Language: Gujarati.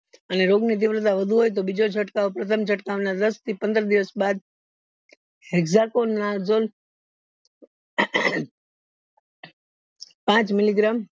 અને રોગ ની દીવાળતા વધુ હોય તો બીજો ચડકાવ પ્રથમ ચડકાવ ના દસ થી પંદર દિવસ બાદ પાંચ milligram